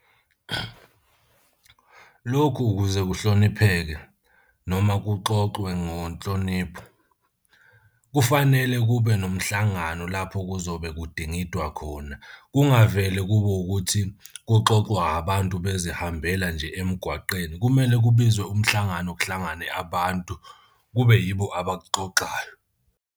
Lokhu ukuze kuhlonipheke noma kuxoxwe ngonhlonipho kufanele kube nomhlangano lapho kuzobe kudingidwa khona. Kungavele kube ukuthi kuxoxwa abantu bezihambele nje emgwaqeni kumele kubizwe umhlangano, kuhlangane abantu kube yibo abaxoxayo.